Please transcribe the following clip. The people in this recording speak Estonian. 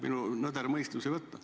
Minu nõder mõistus ei võta.